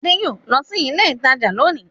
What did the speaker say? Ade yóò lọ sí ilé-ìtajà lónìí.